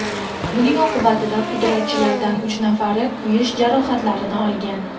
Buning oqibatida pudratchilarning uch nafari kuyish jarohatlarini olgan.